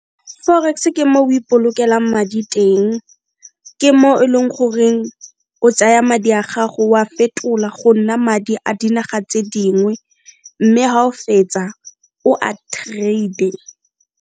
Forex ke mo o ipolokelang madi teng, ke mo e leng goreng o tsaya madi a gago o a fetola go nna madi a dinaga tse dingwe mme ga o fetsa o a trader.